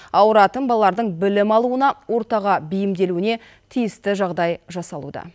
ауыратын балалардың білім алуына ортаға бейімделуіне тиісті жағдай жасалуда